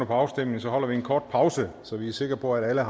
afstemningen holder vi en kort pause så vi er sikre på at alle